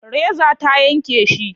Reza ta yanke shi.